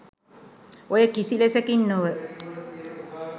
ඔය කිසි ලෙසකින් නොව